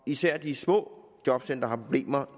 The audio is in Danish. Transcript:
især de små jobcentre har problemer